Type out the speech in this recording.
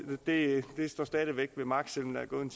står stadig væk ved magt selv